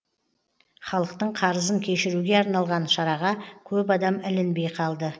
халықтың қарызын кешіруге арналған шараға көп адам ілінбей қалды